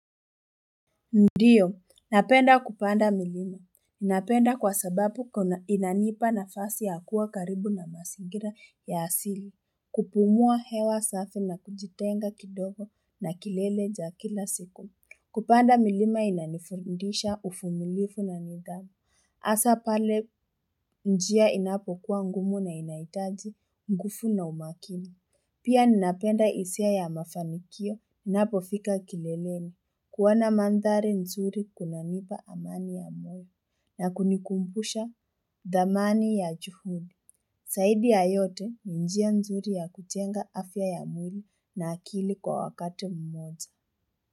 Ndiyo, napenda kupanda milima. Napenda kwa sababu inanipa nafasi ya kuwa karibu na mazingira ya asili. Kupumua hewa safi na kujitenga kidogo na kilele cha kila siku. Kupanda milima inanifundisha ufumilifu na nidhamu. Asa pale njia inapo kuwa ngumu na inahitaji, ngufu na umakini. Pia ninapenda isia ya mafanikio. Napo fika kileleni. Kuona mandhari nzuri kuna nipa amani ya moyo na kunikumbusha dhamani ya juhudi Zaidi ya yote njia nzuri ya kujenga afya ya mwili na akili kwa wakati mmoja.